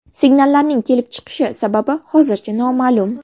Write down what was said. Signallarning kelib chiqish sababi hozircha noma’lum.